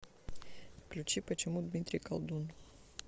включи почему дмитрий колдун